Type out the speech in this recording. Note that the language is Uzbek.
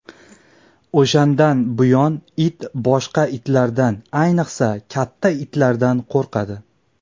O‘shandan buyon it boshqa itlardan, ayniqsa, katta itlardan qo‘rqadi.